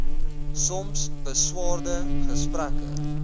soms beswaarde gesprekke